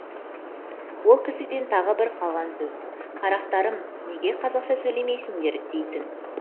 ол кісіден тағы бір қалған сөз қарақтарым неге қазақша сөйлемейсіңдер дейтін